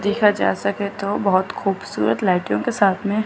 देखा जा सके तो बहुत खूबसूरत लाइटों के साथ में--